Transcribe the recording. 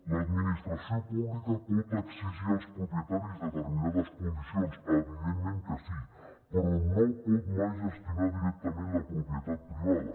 l’administració pública pot exigir als propietaris determinades condicions evidentment que sí però no pot mai gestionar directament la propietat privada